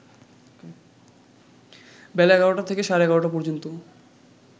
বেলা ১১টা থেকে সাড়ে ১১টা পর্যন্ত